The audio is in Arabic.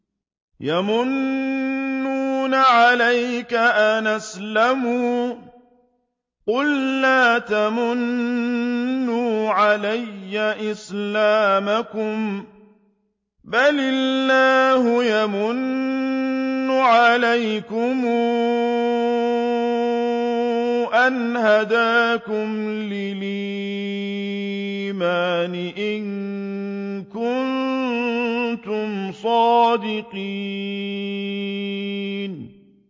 يَمُنُّونَ عَلَيْكَ أَنْ أَسْلَمُوا ۖ قُل لَّا تَمُنُّوا عَلَيَّ إِسْلَامَكُم ۖ بَلِ اللَّهُ يَمُنُّ عَلَيْكُمْ أَنْ هَدَاكُمْ لِلْإِيمَانِ إِن كُنتُمْ صَادِقِينَ